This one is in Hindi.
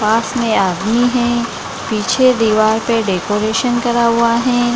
पास में आदमी है पीछे दीवार पर डेकोरेशन करा हुआ है ।